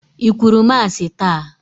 I kwuru Masị taa?